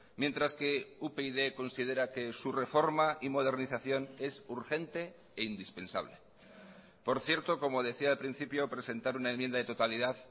mientras que upyd considera que su reforma y modernización es urgente e indispensable por cierto como decía al principio presentar una enmienda de totalidad